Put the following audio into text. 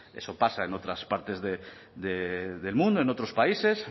eso pasa en otras partes del mundo en otros países